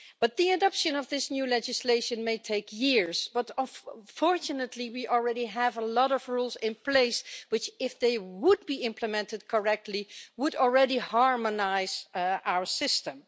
The adoption of this new legislation may take years but, fortunately, we already have a lot of rules in place, which, if they were implemented correctly, would already harmonise our system.